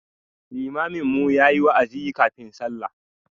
Limamin mu ya yi wa'azi kafin sallah.